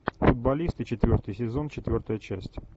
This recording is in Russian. футболисты четвертый сезон четвертая часть